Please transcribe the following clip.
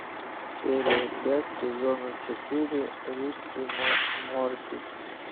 серия пять сезона четыре рик и морти